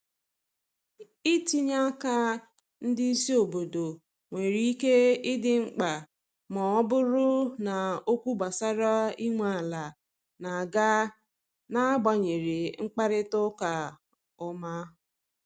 itinye aka ndị isi obodo nwere ike idi mkpa ma ọ bụrụ na okwu gbasara inwe ala n'aga na agbanyeghị mkparịta ụka ọma